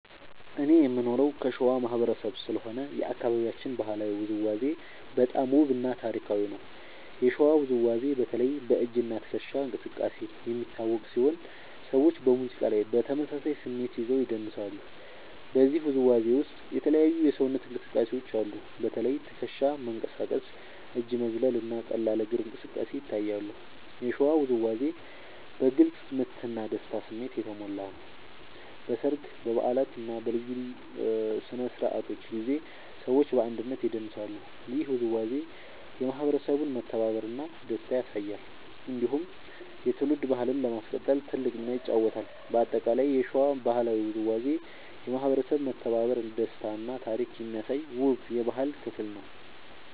እኔ የምኖረው ከሸዋ ማህበረሰብ ስለሆነ የአካባቢያችን ባህላዊ ውዝዋዜ በጣም ውብ እና ታሪካዊ ነው። የሸዋ ውዝዋዜ በተለይ በ“እጅ እና ትከሻ እንቅስቃሴ” የሚታወቅ ሲሆን ሰዎች በሙዚቃ ላይ በተመሳሳይ ስሜት ይዘው ይደንሳሉ። በዚህ ውዝዋዜ ውስጥ የተለያዩ የሰውነት እንቅስቃሴዎች አሉ። በተለይ ትከሻ መንቀሳቀስ፣ እጅ መዝለል እና ቀላል እግር እንቅስቃሴ ይታያሉ። የሸዋ ውዝዋዜ በግልጽ ምት እና በደስታ ስሜት የተሞላ ነው። በሰርግ፣ በበዓላት እና በልዩ ስነ-ስርዓቶች ጊዜ ሰዎች በአንድነት ይደንሳሉ። ይህ ውዝዋዜ የማህበረሰቡን መተባበር እና ደስታ ያሳያል። እንዲሁም የትውልድ ባህልን ለማስቀጠል ትልቅ ሚና ይጫወታል። በአጠቃላይ የሸዋ ባህላዊ ውዝዋዜ የማህበረሰብ መተባበር፣ ደስታ እና ታሪክ የሚያሳይ ውብ የባህል ክፍል ነው።